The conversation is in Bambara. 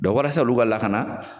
walasa olu ka lakana